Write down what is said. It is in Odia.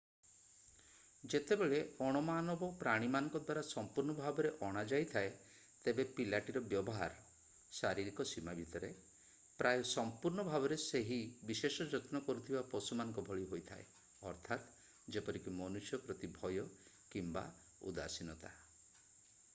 ଯେତେବେଳେ ଅଣ-ମାନବ ପ୍ରାଣୀମାନଙ୍କ ଦ୍ଵାରା ସମ୍ପୁର୍ଣ୍ଣ ଭାବରେ ଅଣାଯାଇଥାଏ ତେବେ ପିଲାଟିର ବ୍ୟବହାର ଶାରୀରିକ ସୀମା ଭିତରେ ପ୍ରାୟ ସଂପୂର୍ଣ୍ଣ ଭାବରେ ସେହି ବିଶେଷ ଯତ୍ନ କରୁଥିବା ପଶୁ ମାନଙ୍କ ଭଳି ହୋଇଥାଏ ଅର୍ଥାତ ଯେପରିକି ମନୁଷ୍ୟ ପ୍ରତି ଭୟ କିମ୍ବା ଉଦାସୀନତା।